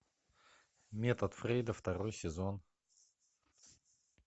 метод фрейда второй сезон